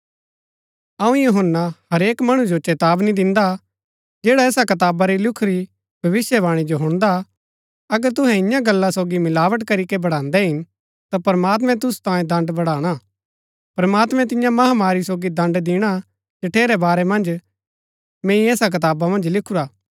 अऊँ यूहन्‍ना हरेक मणु जो चेतावनी दिन्दा जैडा ऐसा कताबा री लिखुरी भविष्‍यवाणी जो हुणदा हा अगर तुहै इन्या गल्ला सोगी मिलावट करीके बढ़ान्दै हिन ता प्रमात्मैं तुसु तांये दण्ड़ बढ़ाणा प्रमात्मैं तिन्या महामारी सोगी दण्ड़ दिणा हा जठेरै बारै मन्ज मैंई ऐसा कताबा मन्ज लिखुरा हा